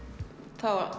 þá